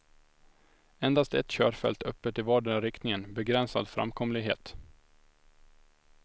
Endast ett körfält öppet i vardera riktningen, begränsad framkomlighet.